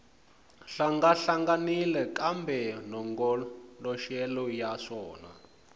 hlangahlanganile kambe malongoloxelo ya swona